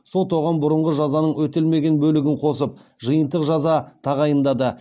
сот оған бұрынғы жазаның өтелмеген бөлігін қосып жиынтық жаза тағайындады